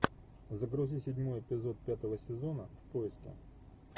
загрузи седьмой эпизод пятого сезона в поиске